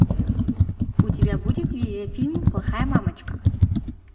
у тебя будет видеофильм плохая мамочка